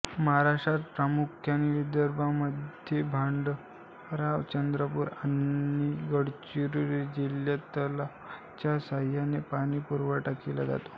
महाराष्ट्र्रात प्रामुख्याने विदर्भामध्ये भंडारा चंद्रपूर आणि गडचिरोली जिल्हयात तलावाच्या साहाय्याने पाणीपुरवठा केला जातो